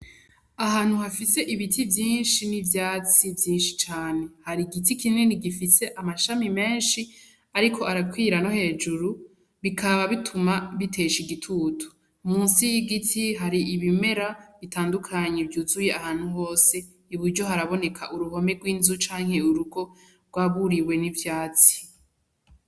Ahantu hafise ibiti vyinshi n’ivyatsi vyinshi cane , hari igiti kinini gifise amashami menshi ariko arakwira no hejuru bikaba bituma bitesha igitutu, munsi y’igiti hari ibimera bitandukanye vyuzuye ahantu hose , Ibiryo haraboneka uruhome rw’inzu canke urugo rwaburiwe n’ivyatsi.